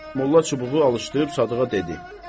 Molla çubuğu alışdırıb Sadığa dedi: